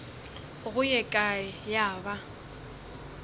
go ye kae ya ba